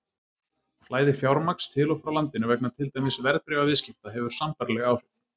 Flæði fjármagns til og frá landinu vegna til dæmis verðbréfaviðskipta hefur sambærileg áhrif.